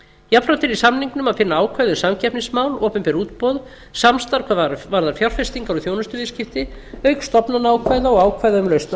jafnframt er í samningnum að finna ákvæði um samkeppnismál opinber útboð samstarf hvað varðar fjárfestingar og þjónustuviðskipti auk stofnanaákvæða og ákvæða um lausn